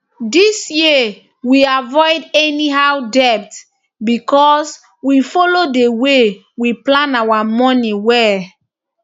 this year we avoid any how debt because we follow the way we plan our money well